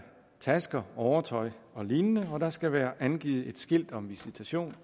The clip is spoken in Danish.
tasker overtøj og lignende og der skal være et skilt om visitation